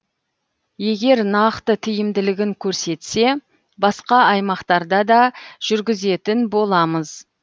егер нақты тиімділігін көрсетсе басқа аймақтарда да жүргізетін боламыз